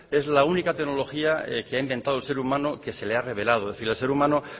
es la única tecnología que ha inventado el ser humano que se le ha revelado es decir el ser humano